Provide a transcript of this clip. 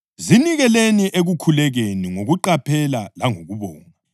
Zinikeleni ekukhulekeni ngokuqaphela langokubonga.